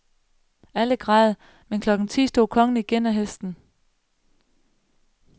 Alle græd, men klokken ti stod kongen igen af hesten.